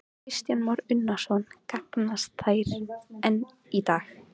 Kristján Már Unnarsson: Gagnast þær enn í dag?